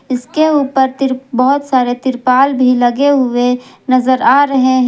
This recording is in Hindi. इसके ऊपर तिर बहुत सारे तिरपाल भी लगे हुए नजर आ रहे हैं।